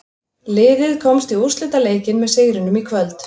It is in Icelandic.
Liðið komst í úrslitaleikinn með sigrinum í kvöld.